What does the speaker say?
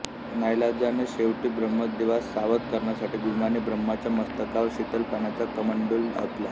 नाईलाजाने शेवटी ब्रम्हदेवास सावध करण्यासाठी भीमाने ब्रह्राच्या मस्तकावर शीतल पाण्याचा कमंडलू ओतला